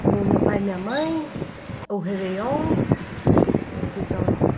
com o meu pai e minha mãe, o Réveillon, e fui para Europa.